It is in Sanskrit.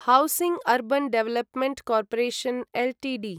housing urban development corporation Ltd